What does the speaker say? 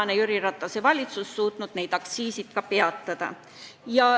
Õnneks on Jüri Ratase valitsus suutnud need aktsiisitõusud peatada.